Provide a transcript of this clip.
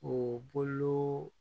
O bolo